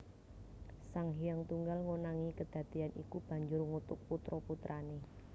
Sang Hyang Tunggal ngonangi kedadéyan iku banjur ngutuk putra putrané